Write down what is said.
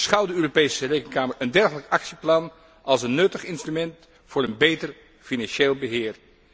Beschouwt de Europese Rekenkamer een dergelijk actieplan als een nuttig instrument voor een beter financieel beheer?